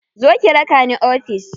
Zo ki raka ni ofis.